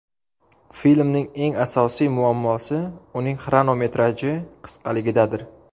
Filmning eng asosiy muammosi uning xronometraji qisqaligidadir.